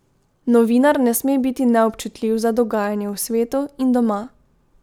Novinar ne sme biti neobčutljiv za dogajanje v svetu in doma.